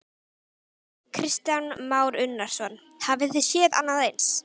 Kristján Már Unnarsson: Hafi þið séð annað eins?